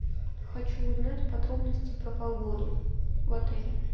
хочу узнать подробности про погоду в отеле